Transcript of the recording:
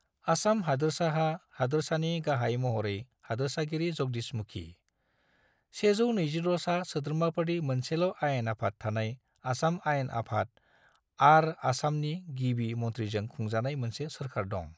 आसाम हादोरसाहा हादोरसानि गाहाय महरै हादोरसागिरि जगदीश मुखी, 126 सा सोद्रोमाफोरनि मोनसेल'आयेन आफाद थानाय आसाम आयेन आफाद आर आसामनि गिबि मनथ्रीजों खुंजानाय मोनसे सोरकार दं।